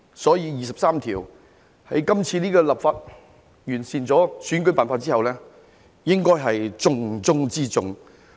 所以，在今次這項立法工作中完善了選舉辦法之後，就第二十三條立法應該是重中之重。